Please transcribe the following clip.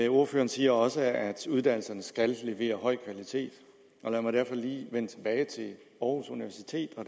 ordføreren siger også at uddannelserne skal levere høj kvalitet og lad mig derfor lige vende tilbage til aarhus universitet